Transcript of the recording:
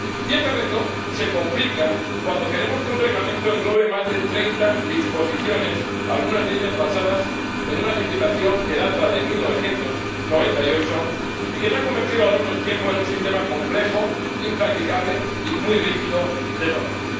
Y este reto se complica cuando queremos que un reglamento englobe más de 30 disposiciones, algunas de ellas basadas en una legislación que data de 1998 y que se ha convertido a lo largo del tiempo en un sistema complejo, impracticable y muy rígido de normas.